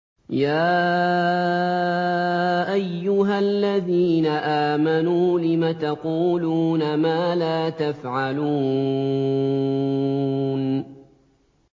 يَا أَيُّهَا الَّذِينَ آمَنُوا لِمَ تَقُولُونَ مَا لَا تَفْعَلُونَ